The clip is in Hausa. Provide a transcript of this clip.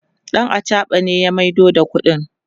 ɗan achaɓa ne ya maido da ƙuɗin